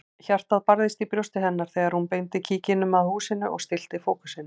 Hjartað barðist í brjósti hennar þegar hún beindi kíkinum að húsinu og stillti fókusinn.